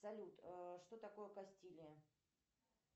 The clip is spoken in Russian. салют что такое кастилия